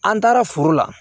An taara foro la